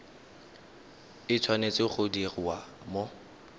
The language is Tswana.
e tshwanetse go diriwa mo